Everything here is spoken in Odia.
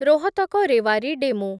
ରୋହତକ ରେୱାରୀ ଡେମୁ